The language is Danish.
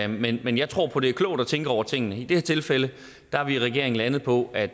men jeg tror på at det er klogt at tænke over tingene i det her tilfælde er vi i regeringen landet på at